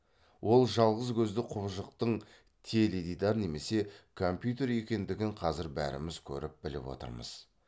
ол жалғыз көзді құбыжықтың теледидар немесе компьютер екендігін қазір бәріміз көріп біліп отырмыз